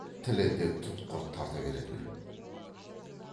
тілі де тұтқыр тарта беретін